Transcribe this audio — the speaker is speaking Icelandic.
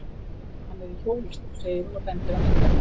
Hann er í hjólastól, segir hún og bendir á mynd af honum.